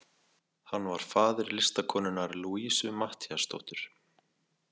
Hann var faðir listakonunnar Louisu Matthíasdóttur.